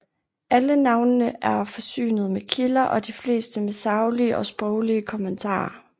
Alle navnene er forsynet med kilder og de fleste med saglige og sproglige kommentarer